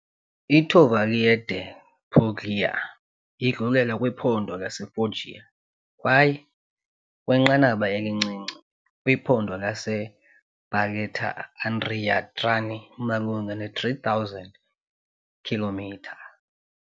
I-Tavoliere delle Puglie idlulela kwiphondo laseFoggia kwaye, kwinqanaba elincinci, kwiphondo laseBarletta-Andria-Trani malunga ne-3000 km2.